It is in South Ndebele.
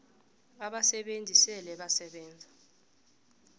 abasebenzi esele basebenze